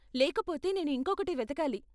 లేకపోతే, నేను ఇంకొకటి వెతకాలి.